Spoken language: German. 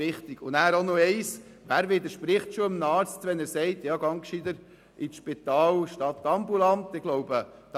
Noch etwas: Wer widerspricht schon einem Arzt, wenn er einen Patienten ins Spital schickt, statt ihn ambulant zu behandeln.